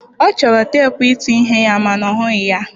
Ọ chọrọ teepụ ịtụ ihe ya ma na ọ hụghị ya.